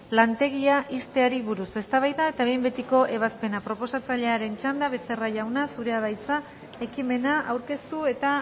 lantegia ixteari buruz eztabaida eta behin betiko ebazpena proposatzailearen txanda becerra jauna zurea da hitza ekimena aurkeztu eta